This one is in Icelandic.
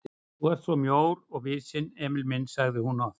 Þú ert svo mjór og visinn, Emil minn sagði hún oft.